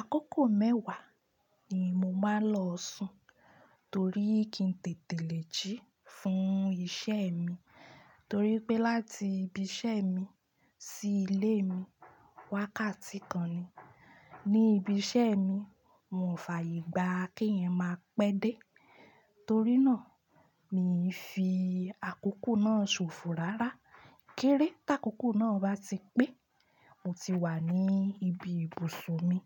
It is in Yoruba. Akókò mẹ́wàá ni mo máa lọo sùn torí kí n tètè lè jí fún iṣẹ́ mi torí pé láti ibiṣẹ́ mi sí ilé mi wákàtí kan ni. Ni ibiṣẹ́ mi, mo ò fàyè gbá kí ẹyan máa pẹ́ dé, torí náà mi fi àkókò náà ṣòfò lára. Kérè tí àkókò náà bá ti pé, mo ti wà ní ibi ibùsùn mi